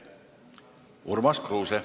Urmas Kruuse.